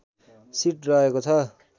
seat रहेको छ